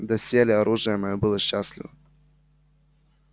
доселе оружие моё было счастливо